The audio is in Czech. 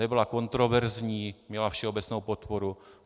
Nebyla kontroverzní, měla všeobecnou podporu.